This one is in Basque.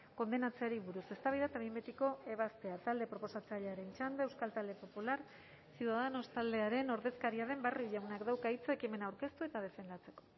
kondenatzeari buruz eztabaida eta behin betiko ebazpena talde proposatzailearen txanda euskal talde popular ciudadanos taldearen ordezkaria den barrio jaunak dauka hitza ekimena aurkeztu eta defendatzeko